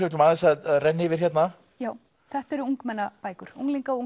ætlum aðeins að renna yfir hérna þetta eru ungmennabækur unglinga og